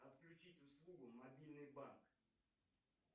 отключить услугу мобильный банк